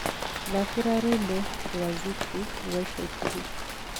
thakĩra rwĩmbo rwa zuchu rwa ĩca ĩkũhĩ